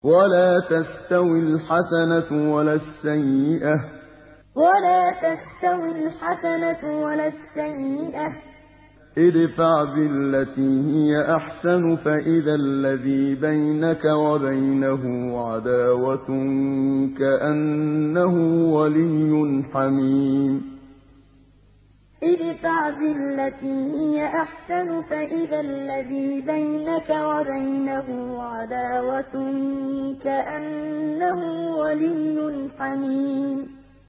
وَلَا تَسْتَوِي الْحَسَنَةُ وَلَا السَّيِّئَةُ ۚ ادْفَعْ بِالَّتِي هِيَ أَحْسَنُ فَإِذَا الَّذِي بَيْنَكَ وَبَيْنَهُ عَدَاوَةٌ كَأَنَّهُ وَلِيٌّ حَمِيمٌ وَلَا تَسْتَوِي الْحَسَنَةُ وَلَا السَّيِّئَةُ ۚ ادْفَعْ بِالَّتِي هِيَ أَحْسَنُ فَإِذَا الَّذِي بَيْنَكَ وَبَيْنَهُ عَدَاوَةٌ كَأَنَّهُ وَلِيٌّ حَمِيمٌ